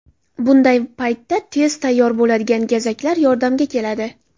Bunday paytda tez tayyor bo‘ladigan gazaklar yordamga keladi.